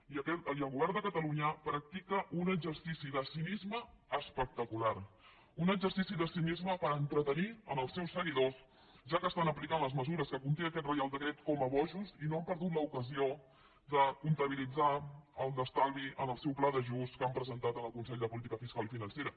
i el govern de catalunya practica un exercici de cinisme espectacular un exercici de cinisme per entretenir els seus seguidors ja que estan aplicant les mesures que conté aquest reial decret com a bojos i no han perdut l’ocasió de comptabilitzar l’estalvi en el seu pla d’ajust que han presentat en el consell de política fiscal i financera